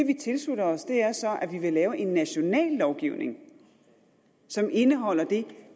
vi tilslutter os er så at vi vil lave en national lovgivning som indeholder det